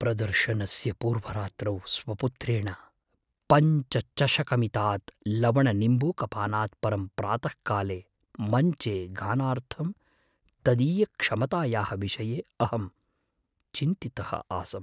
प्रदर्शनस्य पूर्वरात्रौ स्वपुत्रेण पञ्चचषकमितात् लवणनिम्बूकपानात् परं प्रातःकाले मञ्चे गानार्थं तदीयक्षमतायाः विषये अहं चिन्तितः आसम्।